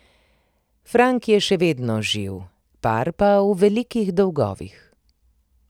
Frank je še vedno živ, par pa v velikih dolgovih.